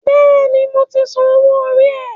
Bẹ́ẹ̀ni, mo ti san owó orí rẹ